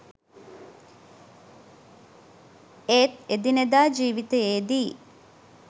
ඒත් එදිනෙදා ජීවිතේදී